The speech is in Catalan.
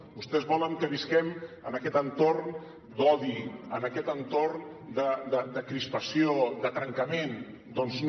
vostès volen que visquem en aquest entorn d’odi en aquest entorn de crispació de trencament doncs no